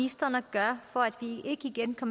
der